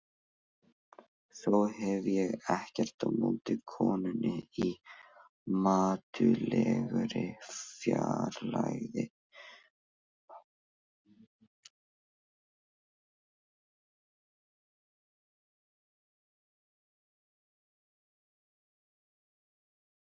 Svo getur verið að líf mitt gerist í vitlausri tímaröð.